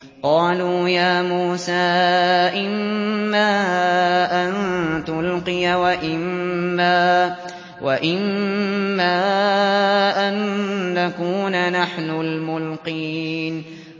قَالُوا يَا مُوسَىٰ إِمَّا أَن تُلْقِيَ وَإِمَّا أَن نَّكُونَ نَحْنُ الْمُلْقِينَ